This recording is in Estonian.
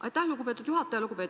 Aitäh, lugupeetud juhataja!